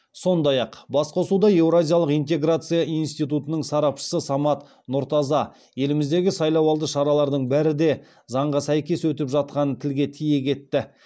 сондай ақ басқосуда еуразиялық интеграция институтының сарапшысы самат нұртаза еліміздегі сайлауалды шаралардың бәрі де заңға сәйкес өтіп жатқанын тілге тиек етті